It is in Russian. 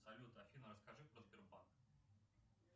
салют афина расскажи про сбербанк